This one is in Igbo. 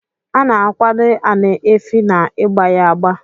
Ana akwad ani efi na igba ya agba.